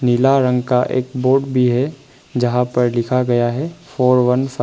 नीला रंग का एक बोर्ड भी है जहां पर लिखा गया है फोर वन फाइव ।